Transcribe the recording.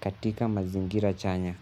katika mazingira chanya.